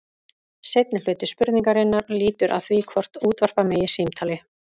Seinni hluti spurningarinnar lýtur að því hvort útvarpa megi símtali.